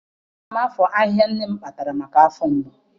Ana m afọ ahịhịa nne m kpatara maka afọ mgbu.